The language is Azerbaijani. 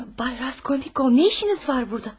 Bay Raskolnikov, nə işiniz var burda?